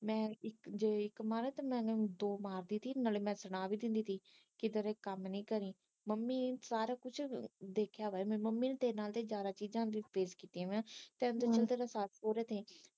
ਮੈ ਜੇ ਇਕ ਮਾਰਾ ਤੇ ਮੈ ਓਹਨੂੰ ਦੋ ਮਾਰਦੀ ਸੀ ਨਾਲੇ ਮੈ ਸੁਣਾ ਵੀ ਦਿੰਦੀ ਸੀ ਕੇ ਤੇਰੇ ਕੰਮ ਨਹੀਂ ਮੰਮੀ ਸਾਰਾ ਕੁਛ ਦੇਖਿਆ ਵਾ ਮੰਮੀ ਨੇ ਤਾ ਤੇਰੇ ਨਾਲੋਂ ਜਿਆਦਾ ਵਾ ਤੇਰੇ ਤਾ ਸੱਸ ਸੋਹਰੇ ਦੀ